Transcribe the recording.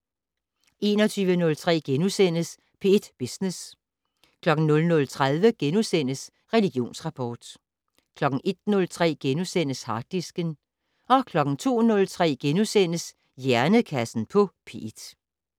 21:03: P1 Business * 00:30: Religionsrapport * 01:03: Harddisken * 02:03: Hjernekassen på P1 *